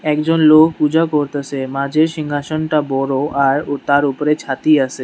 একজন লোক পূজা করতাসে মাঝের সিংহাসনটা বড় আর ও তার উপরে ছাতি আসে।